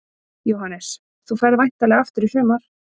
Jóhannes: Þú ferð væntanlega aftur í sumar?